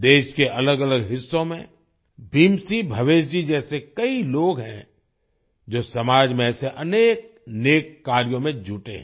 देश के अलगअलग हिस्सों में भीम सिंह भवेश जी जैसे कई लोग हैं जो समाज में ऐसे अनेक नेक कार्यों में जुटे हैं